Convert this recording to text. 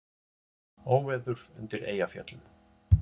Óveður undir Eyjafjöllum